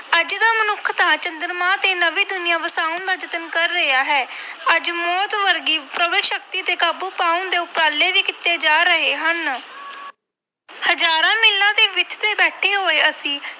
ਅੱਜ ਦਾ ਮਨੁੱਖ ਤਾਂ ਚੰਦਰਮਾ ਤੇ ਨਵੀਂ ਦੁਨੀਆਂ ਵਸਾਉਣ ਦਾ ਯਤਨ ਕਰ ਰਿਹਾ ਹੈ ਅੱਜ ਮੌਤ ਵਰਗੀ ਸ਼ਕਤੀ ਤੇ ਕਾਬੂ ਪਾਉਣ ਦੇ ਉਪਰਾਲੇ ਵੀ ਕੀਤੇ ਜਾ ਰਹੇ ਹਨ ਹਜ਼ਾਰਾਂ ਮੀਲਾਂ ਦੀ ਵਿੱਥ ਤੇ ਬੈਠੇ ਹੋਏ ਅਸੀਂ